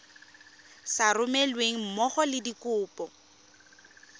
sa romelweng mmogo le dikopo